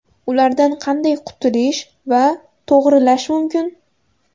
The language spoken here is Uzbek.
Ulardan qanday qutulish va to‘g‘rilash mumkin?